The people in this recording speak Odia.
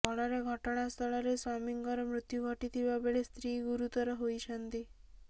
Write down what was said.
ଫଳରେ ଘଟଣାସ୍ଥଳରେ ସ୍ବାମୀଙ୍କର ମୃତ୍ୟୁ ଘଟିଥିବାବେଳେ ସ୍ତ୍ରୀ ଗୁରୁତର ହୋଇଛନ୍ତି